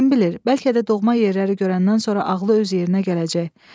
Kim bilir, bəlkə də doğma yerləri görəndən sonra ağlı öz yerinə gələcək.